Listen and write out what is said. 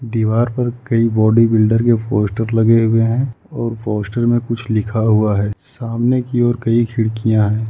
दीवार पर कई बॉडी बिल्डर के पोस्टर लगे हुए हैं और पोस्टर में कुछ लिखा हुआ है सामने की ओर कई खिड़कियां है।